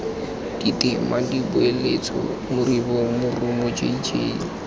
ditema dipoeletso moribo morumo jj